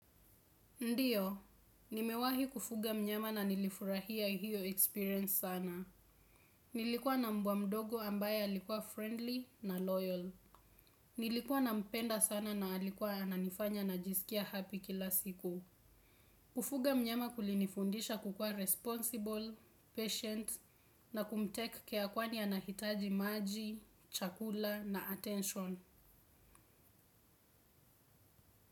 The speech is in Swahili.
Ndiyo, nimewahi kufuga mnyama na nilifurahia hiyo experience sana. Nilikuwa na mbwa mdogo ambaye alikuwa friendly na loyal. Nilikuwa nampenda sana na alikuwa ananifanya najisikia happy kila siku. Kufuga mnyama kulinifundisha kukuwa responsible, patient na kumtake care kwani anahitaji maji, chakula na attention.